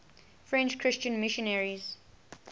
french christian missionaries